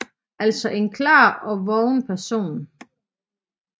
Altså en klar og vågen person